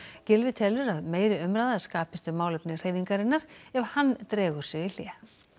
Gylfi telur að meiri umræða skapist um málefni hreyfingarinnar ef hann dregur sig í hlé